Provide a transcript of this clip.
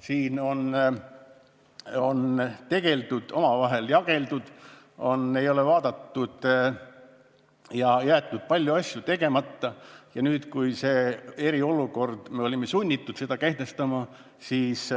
Siin on omavahel jageldud ja palju asju on jäetud tegemata ja nüüd, kui olime sunnitud kehtestama eriolukorra, siis